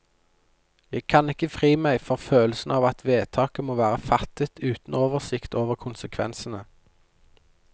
Jeg kan ikke fri meg for følelsen av at vedtaket må være fattet uten oversikt over konsekvensene.